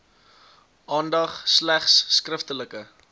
aandag slegs skriftelike